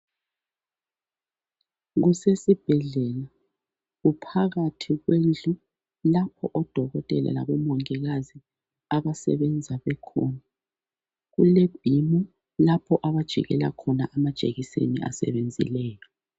Kusesibhedlela kuphakathi kendlu lapho odokotela labomongikazi abasebenza bekhona. Kule bhimu lapho abajikela khona amajekiseni asebenzileyo